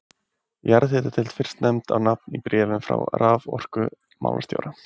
Jarðhitadeild fyrst nefnd á nafn í bréfum frá raforkumálastjóra.